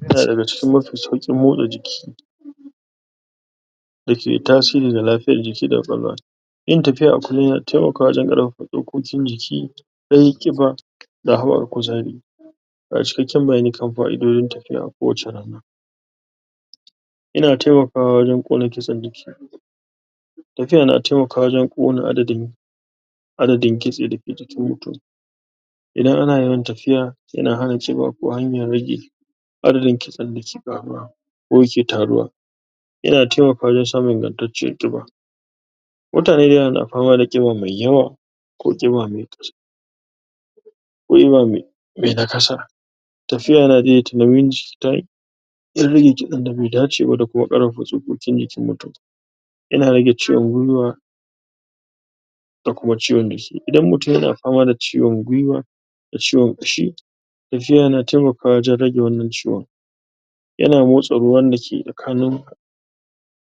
Yana daga cikin mafi sauƙin motsa jiki dake tasiri ga lafiyar jiki da ƙwaƙwalwa yin tafiya a kullum yana taimakawa wajen ƙarfafa tsokokin jiki rage ƙiba da hawar kuzari Ga cikakken bayani kan fa'idojin tafiya a kowace rana yana taimakawa wajen ƙone kitsen jiki tafiya na taimakawa wajen ƙona adadin adadin kitse dake jikin mutum idan ana yawan tafiya, yana hana ƙiba ko hanyar rage adadin kitsen dake ƙaruwa ko yake taruwa yana taimakawa wajen samun ingantacciyar ƙiba mutane dayawa na fama da ƙiba mai yawa ko ƙiba mai ko ƙiba mai mai nakasa tafiya na daidaita nauyin jiki ta hanyar? rage kitsen da bai dace ba da kuma ƙarfafa tsokokin jikin mutum yana rage ciwon gwuiwa da kuma ciwon jiki idan mutum yana fama da ciwon gwuiwa da ciwon ƙashi tafiya yana taimakawa wajen rage wannan ciwon yana motsa ruwan dake tsakanin